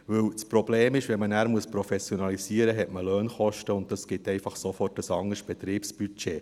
Denn das Problem ist, wenn man nachher professionalisiert, hat man Lohnkosten, und das gibt einfach sofort ein anderes Betriebsbudget.